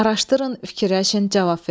Araşdırın, fikirləşin, cavab verin.